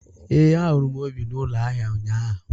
Ee, ahụrụ m Obi n’ụlọ ahịa ụnyahụ.